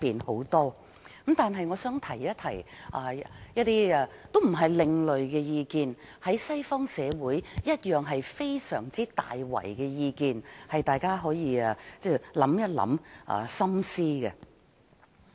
然而，我想提出一些意見，也說不上是另類意見，因為西方社會也有同樣的意見，希望大家可以深思。